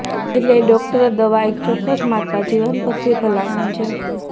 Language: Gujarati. એટલે ડોક્ટરો દવા એક ચોક્કસ માત્રા જીવનપદ્ધતિ ભલામણ છે